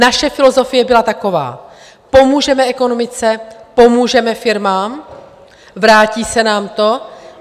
Naše filozofie byla taková: pomůžeme ekonomice, pomůžeme firmám, vrátí se nám to.